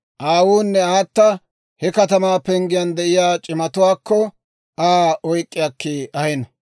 aawunne aata he katamaa penggiyaan de'iyaa c'imatuwaakko Aa oyk'k'i akki ahino.